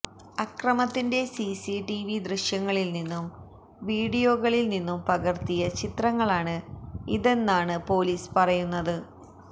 അക്രമത്തിന്റെ CCTV ദൃശ്യങ്ങളിൽനിന്നും വീഡിയോകളിൽനിന്നും പകർത്തിയ ചിത്രങ്ങളാണ് ഇതെന്നാണ് പൊലീസ് പറയുന്നത്